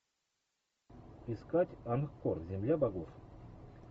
искать анкор земля богов